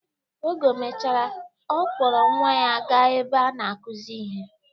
Oge o mechara, ọ kpọrọ nwa ya ga-ebe a na-akuzi ihe.